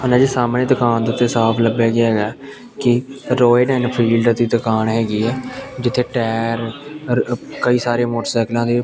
ਓਹਨਾਂ ਦੇ ਸਾਹਮਣੇ ਦੁਕਾਨ ਦੇ ਉੱਤੇ ਸਾਫ ਲੱਭਿਆ ਗਿਆ ਹੈਗੈ ਕਿ ਰੋਇਲ ਏਨਫੀਲਦ ਦੀ ਦੁਕਾਨ ਹੈਗੀ ਐ ਜਿੱਥੇ ਟਾਇਰ ਔਰ ਕਈ ਸਾਰੇ ਮੋਟਰਸਾਈਕਲਾਂ ਦੇ --